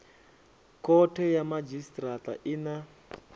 khothe ya madzhisitirata i na